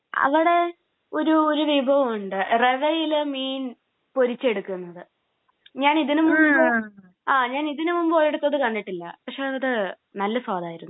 അവിടെ ഒരു ഒരു വിഭവം ഉണ്ട്. റവയിൽ മീൻ പൊരിച്ചെടുക്കുന്നത്. ആ ഞാൻ ഇതിന് മുന്പ് ഒരിടത്തും അത് കണ്ടിട്ടില്ല. പക്ഷേ അത് നല്ല സ്വാദ് ആയിരുന്നു.